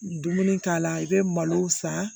Dumuni k'a la i bɛ malo san